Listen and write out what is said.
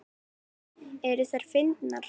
Eru þær fyndnar?